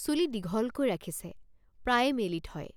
চুলি দীঘলকৈ ৰাখিছে প্ৰায়ে মেলি থয়